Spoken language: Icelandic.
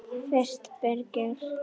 Fyrst Birgir